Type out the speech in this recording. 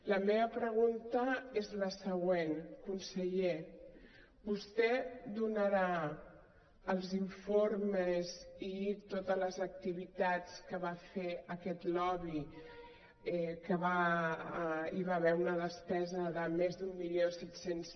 la meva pregunta és la següent conseller vostè donarà els informes i totes les activitats que va fer aquest lobby que hi va haver una despesa de més d’mil set cents